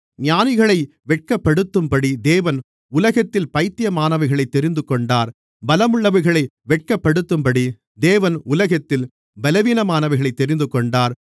ஞானிகளை வெட்கப்படுத்தும்படி தேவன் உலகத்தில் பைத்தியமானவைகளைத் தெரிந்துகொண்டார் பலமுள்ளவைகளை வெட்கப்படுத்தும்படி தேவன் உலகத்தில் பலவீனமானவைகளைத் தெரிந்துகொண்டார்